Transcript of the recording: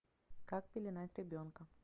как пеленать ребенка